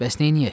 Bəs neyləyək?